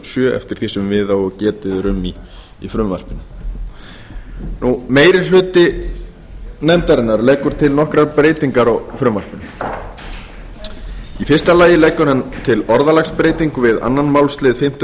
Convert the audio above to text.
sjö meiri hlutinn leggur til nokkrar breytingar á frumvarpinu í fyrsta lagi leggur hann til orðalagsbreytingu við aðra málsl fimmtu